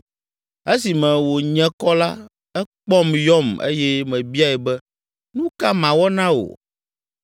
Esime wònye kɔ la, ekpɔm yɔm eye mebiae be, ‘Nu ka mawɔ na wò?’